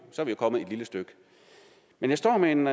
kommet et lille stykke men jeg står med en